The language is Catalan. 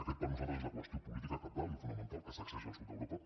aquesta per nosaltres és la qüestió política cabdal i fonamental que sacseja el sud d’europa